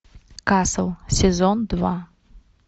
касл сезон два